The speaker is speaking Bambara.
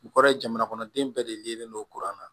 U kɔrɔ ye jamana kɔnɔden bɛɛ de yelen don kuran na